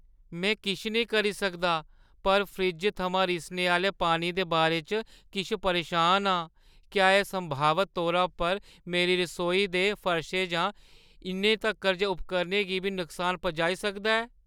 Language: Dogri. में किश नेईं करी सकदा पर फ्रिज्जै थमां रिसने आह्‌ले पानी दे बारे च किश परेशान आं, क्या एह् संभावत तौरा पर मेरी रसोई दे फर्शै जां इन्ने तक्कर जे उपकरणै गी बी नुकसान पुजाई सकदा ऐ?